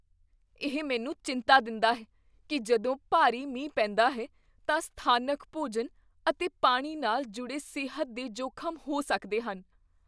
ਇਹ ਮੈਨੂੰ ਚਿੰਤਾ ਦਿੰਦਾ ਹੈ ਕੀ ਜਦੋਂ ਭਾਰੀ ਮੀਂਹ ਪੈਂਦਾ ਹੈ ਤਾਂ ਸਥਾਨਕ ਭੋਜਨ ਅਤੇ ਪਾਣੀ ਨਾਲ ਜੁੜੇ ਸਿਹਤ ਦੇ ਜੋਖ਼ਮ ਹੋ ਸਕਦੇ ਹਨ।